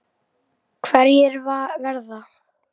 Hverjir verða?